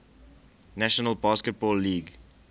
national basketball league